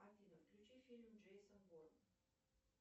афина включи фильм джейсон борн